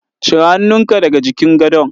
Cire hannunka daga jikin gadon.